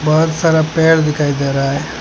बहुत सारा पेड़ दिखाई दे रहा है।